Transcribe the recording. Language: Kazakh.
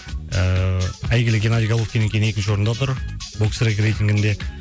ыыы әйгілі геннадий головкиннен кейін екінші орында тұр боксрек рейтингінде